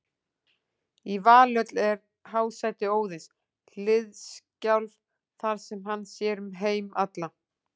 Í Valhöll er hásæti Óðins, Hliðskjálf, þar sem hann sér um heima alla.